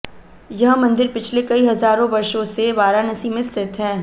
यह मंदिर पिछले कई हजारों वर्षों से वाराणसी में स्थित है